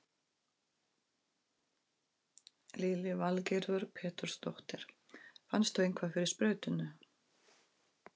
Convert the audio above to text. Lillý Valgerður Pétursdóttir: Fannstu eitthvað fyrir sprautunni?